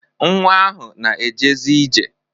Nwa ahụ na-ejezi ije.